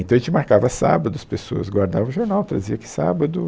Então, a gente marcava sábado, as pessoas guardavam o jornal, traziam aqui sábado.